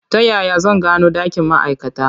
Ta yaya zan gano ɗakin ma'aikata?